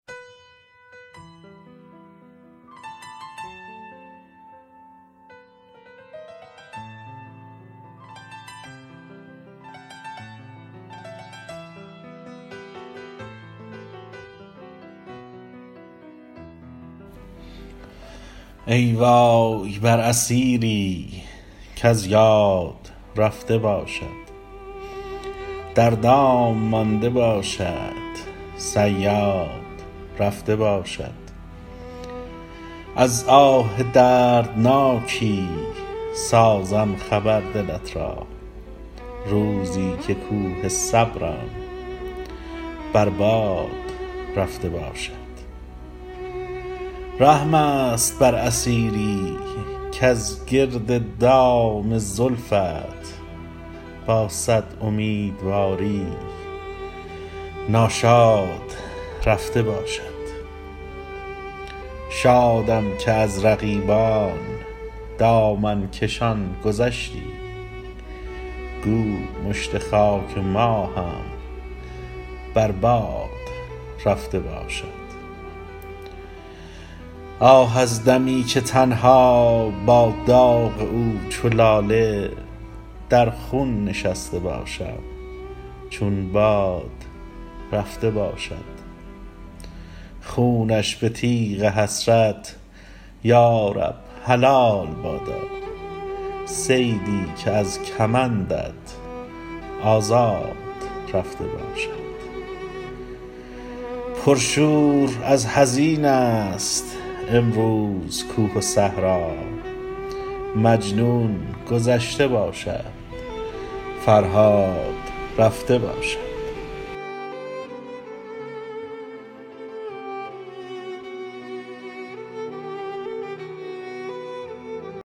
ای وای بر اسیری کز یاد رفته باشد در دام مانده باشد صیاد رفته باشد از آه دردناکی سازم خبر دلت را روزی که کوه صبرم بر باد رفته باشد رحم است بر اسیری کز گرد دام زلفت با صد امیدواری ناشاد رفته باشد شادم که از رقیبان دامن کشان گذشتی گو مشت خاک ما هم بر باد رفته باشد آه از دمی که تنها با داغ او چو لاله در خون نشسته باشم چون باد رفته باشد خونش به تیغ حسرت یارب حلال بادا صیدی که از کمندت آزاد رفته باشد پرشور از حزین است امروز کوه و صحرا مجنون گذشته باشد فرهاد رفته باشد